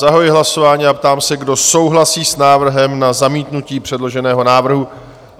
Zahajuji hlasování a ptám se, kdo souhlasí s návrhem na zamítnutí předloženého návrhu?